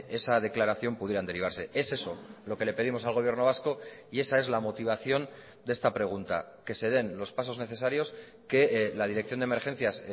esa declaración pudieran derivarse es eso lo que le pedimos al gobierno vasco y esa es la motivación de esta pregunta que se den los pasos necesarios que la dirección de emergencias